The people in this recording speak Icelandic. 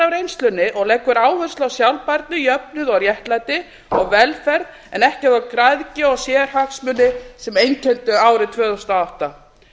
reynslunni og leggur áherslu á sjálfbærni jöfnuð og réttlæti og velferð en ekki græðgi og sérhagsmuni sem einkenndu árið tvö þúsund og átta